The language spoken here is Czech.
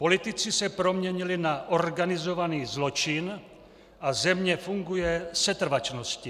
Politici se proměnili na organizovaný zločin a země funguje setrvačností.